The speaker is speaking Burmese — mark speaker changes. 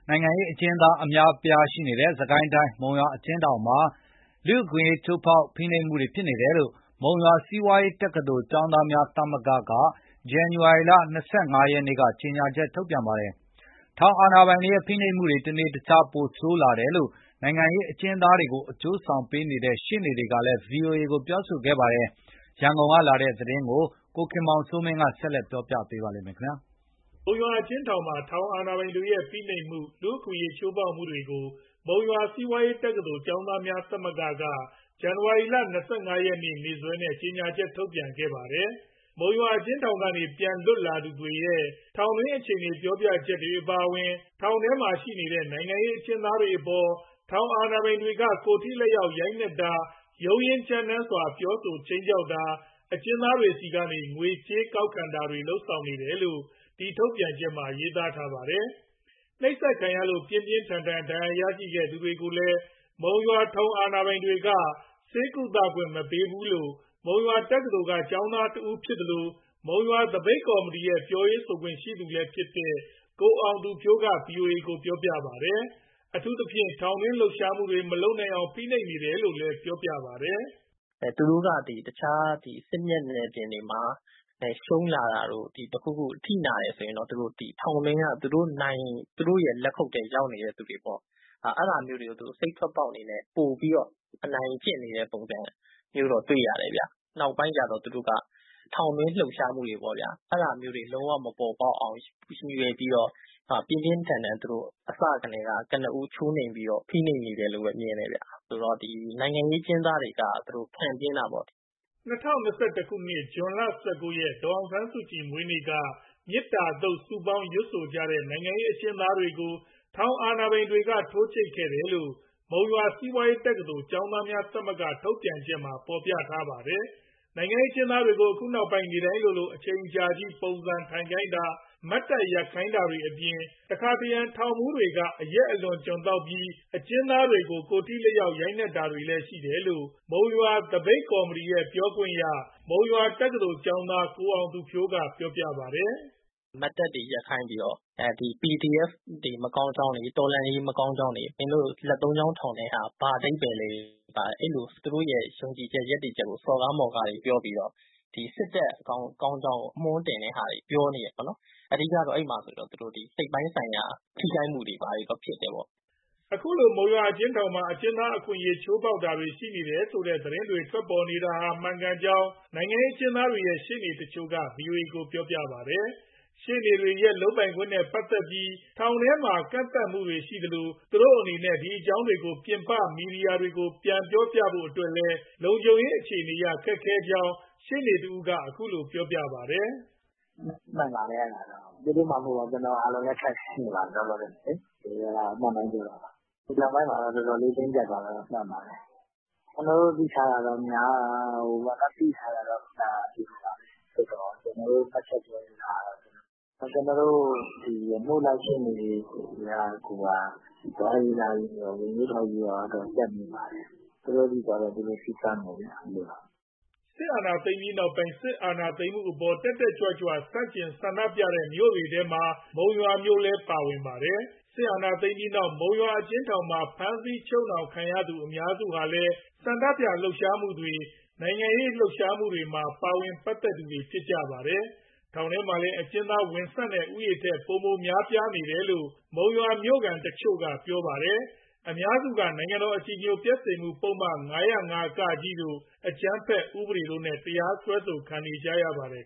Speaker 1: ိုင်ငံရေးအကျဉ်းသား အများအပြားရှိနေတဲ့ စစ်ကိုင်းတိုင်း၊ မုံရွာအကျဉ်းထောင်မှာ လူ့အခွင့်အရေး ချိုးဖောက် ဖိနှိပ်မှုတွေဖြစ်နေတယ်လို့ မုံရွာစီးပွားရေးတက္ကသိုလ် ကျောင်းသားများသမဂ္ဂက ဇန်နဝါရီ ၂၅ ရက်က ကြေညာချက် ထုတ်ပြန်ပါတယ်။ ထောင်အာဏာပိုင်တွေရဲ့ ဖိနှိပ်မှုတွေ တနေ့တခြား ပိုဆိုးလာတယ်လို့ နိုင်ငံရေးအကျဉ်းသားတွေကို အကျိုးဆောင်ပေးနေတဲ့ ရှေ့နေတွေကလည်း ဗွီအိုအေကို ပြောပါတယ်။ ရန်ကုန်ကလာတဲ့ မုံရွာအကျဉ်းထောင်တွင်း အခြေအနေတွေကိုတော့ ကိုခင်မောင်စိုးမင်း
Speaker 2: ကတင်ပြပေးမှာပါ။
Speaker 1: မုံရွာအကျဉ်းထောင်မှာ ထောင်အာဏာပိုင်တွေရဲ့ ဖိနှိပ်မှု၊ လူ့အခွင့်အရေးချိုးဖောက်မှုတွေကို မုံရွာစီးပွားရေးတက္ကသိုလ် ကျောင်းသားများသမဂ္ဂက ဇန်နဝါရီလ ၂၅ ရက်နေ့စွဲနဲ့ ကြေညာချက် ထုတ်ပြန်ခဲ့ပါတယ်။ မုံရွာအကျဉ်းထောင်ကနေ ပြန်လွတ်လာသူရဲ့ ထောင်တွင်းအခြေအနေပြောပြချက်အပါအဝင် ထောင်ထဲမှာရှိနေတဲ့ နိုင်ငံရေးအကျဉ်းသားတွေအပေါ် ထောင်အာဏာပိုင်တွေက ကိုယ်ထိလက်ရောက် ရိုက်နှက်တာ၊ ရုန်းရင်းကြမ်းတမ်းစွာ ပြောဆို ခြိမ်းခြောက်တာ၊ အကျဉ်းသားတွေဆီကနေ ငွေကြေးကောက်ခံတာတွေ လုပ်နေတယ်လို့ ဒီထုတ်ပြန်ချက်မှာ ရေးသားထားတာပါ။ နှိပ်စက်ခံရလို့ ပြင်းပြင်းထန်ထန် ဒဏ်ရာရသူတွေကိုလည်း မုံရွာထောင်အာဏာပိုင်တွေက ဆေးကုသခွင့်မပေးဘူးလို့ မုံရွာတက္ကသိုလ်က ကျောင်းသားတဦးဖြစ်သလို၊ မုံရွာသပိတ်ကော်မတီရဲ့ ပြောခွင့်ရလည်းဖြစ်တဲ့ ကိုအောင်သူဖြိုးက ဗွီအိုအေကို ပြောပါတယ်။ အထူးသဖြင့် ထောင်တွင်းလှုပ်ရှားမှုတွေ မလုပ်အောင် ဖိနှိပ်နေတယ်လို့ ပြောပါတယ်။
Speaker 2: “သူတို့က တခြားစစ်မျက်နှာပြင်တွေမှာ ရှုံးလာတာတို့၊ အထိနာတယ်ဆိုရင် ထောင်ထဲက သူတို့နိုင်တဲ့၊ သူတို့လက်ခုပ်ထဲ ရောက်နေသူတွေပေါ့ အဲဒါမျိုးတွေကို စိတ်ထွက်ပေါက်အနေနဲ့ ပိုပြီးအနိုင်ကျင့်နေတဲ့ပုံစံမျိုး တွေ့ရတယ်။ နောက်ပိုင်းကျတော့ သူတို့က ထောင်တွင်းလှုပ်ရှားမှုတွေပေါ့ဗျာ အဲဒါမျိုးတွေ လုံးဝမပေါ်ပေါက်အောင် ရည်ရွယ်ပြီးတော့ ပြင်းပြင်းထန်ထန်သူတို့ အစကတည်းက ကနဦးချိုးနှိမ်ပြီးတော့ ဖိနှိပ်နေတယ်လို့ပဲ မြင်တယ်။" ၂၀၂၁
Speaker 1: ခုနှစ် ဇွန် ၁၉ရက်၊ ဒေါ်အောင်ဆန်းစုကြည်မွေးနေ့က မေတ္တာသုတ်စုပေါင်းရွတ်ကြတဲ့ နိုင်ငံရေးအကျဉ်းသားတွေကို ထောင်အာဏာပိုင်တွေက ထိုးကြိတ်ခဲ့တယ်လို့ မုံရွာစီးပွားရေးတက္ကသိုလ် ကျောင်းသားများသမဂ္ဂ ထုတ်ပြန်ချက်မှာ ဖော်ပြထားပါတယ်။ နိုင်ငံရေးအကျဉ်းသားတွေကို အခုနောက်ပိုင်း နေ့တိုင်းလိုလို အချိန်အကြာကြီး ပုံစံထိုင်ခိုင်းတာ၊ မတ်တပ်ရပ်ခိုင်းတာတွေအပြင် တခါတရံ ထောင်မှူးတွေက အရက်အလွန်အကျွံသောက်ပြီး အကျဉ်းသားတွေကို ကိုယ်ထိလက်ရောက် ရိုက်နှက်နေတာတွေလည်းရှိတယ်လို့ မုံရွာသပိတ်ကော်မတီရဲ့ ပြောခွင့်ရ မုံရွာတက္ကသိုလ်ကျောင်းသား ကိုအောင်သူဖြိုးကပြောပါတယ်။
Speaker 2: “မတ်တပ်တွေရပ်ခိုင်းပြီးတော့ PDF တွေရဲ့ မကောင်းကြောင်းတွေ တော်လှန်ရေး မကောင်းကြောင်းတွေ မင်းတို့ လက်သုံးချောင်းထောင်တဲ့ဟာ ဘာအဓိပ္ပာယ်လဲ အဲလိုသူတို့ရဲ့ ယုံကြည်ချက် ရပ်တည်ချက်ကို စော်ကားမော်ကားတွေပြောပြီးတော့ စစ်တပ်ကောင်းကြောင်း အမွှန်းတင်တဲ့ဟာတွေ ပြောနေတယ်ပေါ့နော်။ အဓိကတော့သူတို့ အဲဒီမှာ စိတ်ပိုင်းဆိုင်ရာ ထိခိုက်မှုတွေ ဖြစ်တယ်ပေါ့။
Speaker 1: " ခုလို မုံရွာအကျဉ်းထောင်မှာ အကျဉ်းသားအခွင့်အရေး ချိုးဖောက်တာတွေ ရှိနေတယ်ဆိုတဲ့ သတင်းတွေထွက်ပေါ်နေတာဟာ မှန်ကန်ကြောင်း နိုင်ငံရေးအကျဉ်းသားတွေရဲ့ ရှေ့နေတချို့က ဗွီအိုအေကို ပြောပါတယ်။ ရှေ့နေတွေရဲ့ လုပ်ကိုင်ခွင့်နဲ့ပတ်သက်ပြီး ထောင်ထဲမှာ ကန့်သတ်မှုတွေရှိနေသလို သူတို့အနေနဲ့ ဒီအကြောင်းတွေကို ပြင်ပမီဒီယာတွေကို ပြန်ပြောပြဖို့အတွက်လည်း လုံခြုံရေးအခြေအနေအရ ခက်ခဲကြောင်းရှေ့နေတယောက်က ခုလိုပြောပြပါတယ်။
Speaker 2: “မှန်ပါတယ် အဲဒါက။ သူတို့မှမဟုတ်ပါဘူး ကျနော်တို့အားလုံးလည်း ခက်ခဲနေပါတယ် လောလောဆယ်မှာလေ အမှန်အတိုင်းပြောတာပါ။ ဒီနောက်ပိုင်းမှာ တော်တော်လေး တင်းကျပ်သွားတာတော့ မှန်ပါတယ်။ ကျနော်တို့ သိထားတာတော့ များပါတယ်။ ဒါပေမဲ့ ကျနော်တို့ မှတ်ချက်ပြောလိုတာက ကျနော်တို့ အမှုလိုက်ရှေ့နေတွေ ကိုယ်တိုင်ကိုယ်က သွားရေးလာရေးရော၊ ဝင်ရေးထွက်ရေးရော အတော်ကြပ်နေပါတယ်။သူတို့ဆီသွားတော့ သူတို့စည်းကမ်းပေါ့ဗျာ။”
Speaker 1: စစ်တပ်အာဏာသိမ်းပြီးနောက်ပိုင်း စစ်အာအာဏာသိမ်းမှုအပေါ် တက်တက်ကြွကြွ ဆန့်ကျင် ဆန္ဒပြတဲ့မြို့တွေထဲမှာ မုံရွာမြို့လည်းပါဝင်ပါတယ်။စစ်အာဏာသိမ်းပြီးတဲ့နောက် မုံရွာအကျဉ်းထောင်မှာ ဖမ်းဆီးချုပ်နှောင်ခံထားရသူအများစုဟာလည်း ဆန္ဒပြလှုပ်ရှားမှုတွေ၊ နိုင်ငံရေး လှုပ်ရှားမှုတွေမှာ ပါဝင်ပတ်သက်သူတွေဖြစ်ပါတယ်။ ထောင်ထဲမှာလည်း အကျဉ်းသားဝင်ဆံ့တဲ့ ဦးရေထက် ပိုပြီးများပြားနေတယ်လို့လည်း မုံရွာမြို့ခံတချို့က ပြောပါတယ်။ အများစုက နိုင်ငံတော်အကြည်ညိုပျက်စေမှုပုဒ်မ ၅၀၅ တို့ အကြမ်းဖက်ဥပဒေတို့နဲ့ တရားစွဲဆိုခံနေကြရပါတယ်